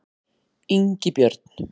Ingibjörn